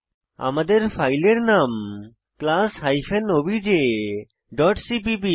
আমাদের ফাইলের নাম class hyphen OBJ dot CPP